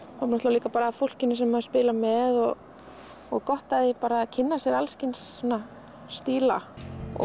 líka af fólkinu sem maður spilar með og og að kynna sér alls kyns stíla